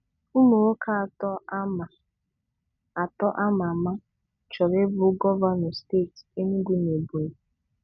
Ụmụ nwoke atọ ama atọ ama ama chọrọ ị bụ gọvanọ steeti Enugu na Ebonyi.